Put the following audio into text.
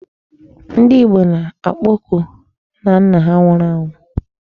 Ndị Igbo na-akpoku nnanna ha nwụrụ anwụ.